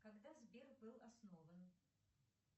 когда сбер был основан